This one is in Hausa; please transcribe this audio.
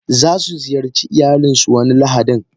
Zasu ziyarci iyalinsu wani lahadin.